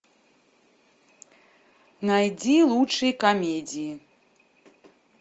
найди лучшие комедии